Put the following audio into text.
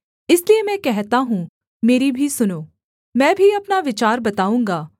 इसलिए मैं कहता हूँ मेरी भी सुनो मैं भी अपना विचार बताऊँगा